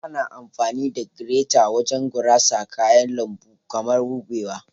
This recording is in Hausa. Ana amfani da gireta wajen gurasa kayan lambu kaman kubewa.